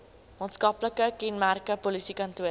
maatskaplike kenmerke polisiekantore